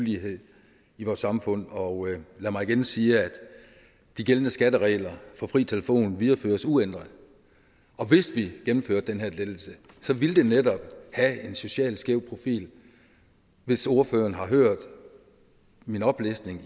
ulighed i vores samfund og lad mig igen sige at de gældende skatteregler for fri telefon videreføres uændret og hvis vi gennemførte den her lettelse ville det netop have en socialt skæv profil hvis ordføreren har hørt min oplistning